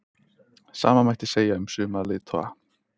Sama mætti segja um suma leiðtoga